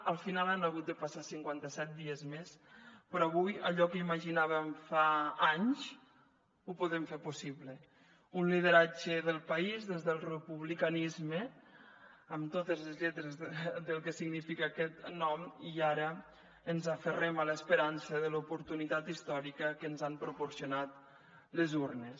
al final han hagut de passar cinquanta set dies més però avui allò que imaginàvem fa anys ho podem fer possible un lideratge del país des del republicanisme amb totes les lletres del que significa aquest nom i ara ens aferrem a l’esperança de l’oportunitat històrica que ens han proporcionat les urnes